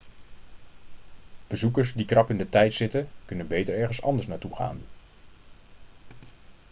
bezoekers die krap in de tijd zitten kunnen beter ergens anders naartoe gaan